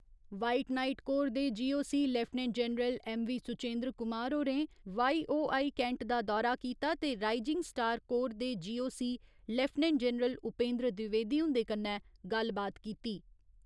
White Knight Corps दे GOC. Lieutenant general MV. Suchendra Kumar होरें YOI. Cantt दा दौरा कीता ते राइजिंग स्टार कोर दे GOC. Lieutenant general Upendra Dwivedi हुन्दे कन्नै गल्लबात कीती।